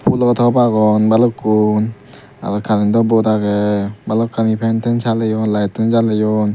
phulo tob agon balukkun aro karento bod agey balokkani fen ten saleyon layetunn jaleyon.